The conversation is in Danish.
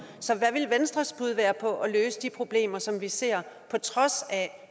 så hvad ville venstres bud være på at løse de problemer som vi ser på trods af